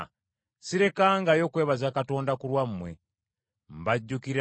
sirekangayo kwebaza Katonda ku lwammwe. Mbajjukira